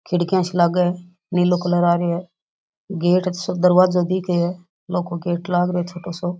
खिड़किया सी लागे है नीलो कलर आ रियो है गेट सो दरवाजा दिखे है लौह को गेट लाग रह्यो है छोटाे साे।